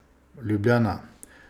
Ljubljana.